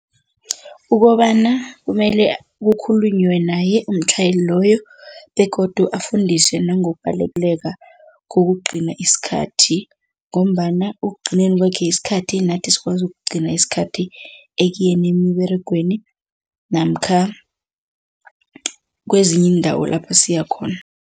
Ukobana kumele kukhulunywe naye umtjhayeli loyo begodu afundise nangokubaleka kokugcina isikhathi ngombana ekugcineni kwakhe isikhathi nathi sikwazi ukugcina isikhathi ekuyeni emiberegweni namkha kwezinye iindawo lapho siyakhona.